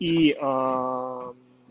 и а